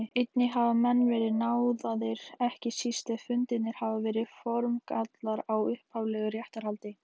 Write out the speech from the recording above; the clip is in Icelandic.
Einnig hafa menn verið náðaðir, ekki síst ef fundnir hafa verið formgallar á upphaflegu réttarhaldi.